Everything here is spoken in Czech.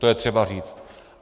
To je třeba říct.